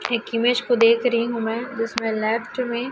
एक इमेज को देख रही हूं मैं जिसमें लेफ्ट में--